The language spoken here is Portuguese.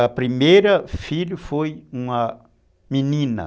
A primeira filha foi uma menina.